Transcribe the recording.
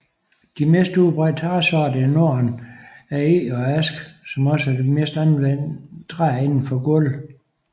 De mest udbredt træsorter i norden er eg og ask som også er det mest anvendte træ indenfor gulve